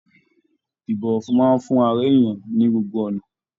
Ibọwọfún máa n fún ará èèyàn ní gbogbo ọnà.